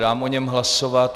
Dám o něm hlasovat.